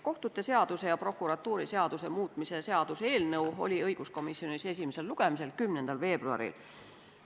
Kohtute seaduse ja prokuratuuriseaduse muutmise seaduse eelnõu oli õiguskomisjonis esimesel lugemisel 10. veebruaril.